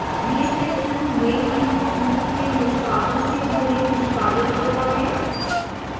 यह section main input loop के निष्पादन के पहले निष्पादित होता है